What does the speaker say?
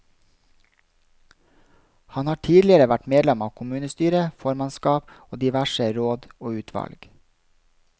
Han har tidligere vært medlem av kommunestyre, formannskap og diverse råd og utvalg.